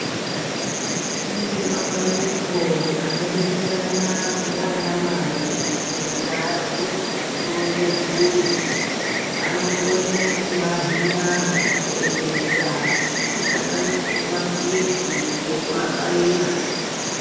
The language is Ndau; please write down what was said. Kune mapandiko anobetserana ndiana mai mundawu yekuronge mburi anokone kutowahina zvokuseenzesa zvinosanganisire mapilizi ngekuwabaira.